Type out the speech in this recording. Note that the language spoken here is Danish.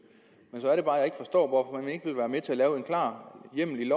men så er det bare jeg ikke forstår hvorfor man ikke vil være med til at lave en klar hjemmel i